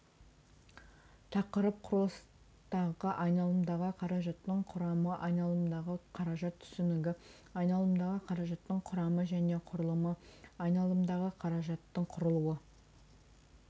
тақырып құрылыстағы айналымдағы қаражаттың құрамы айналымдағы қаражат түсінігі айналымдағы қаражаттың құрамы және құрылымы айналымдағы қаражаттың құрылу